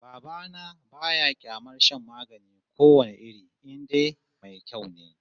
Baba na ba ya kyamar shan magani ko wane iri in dai mai kyau ne